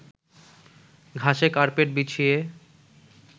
ঘাসে কার্পেট বিছিয়ে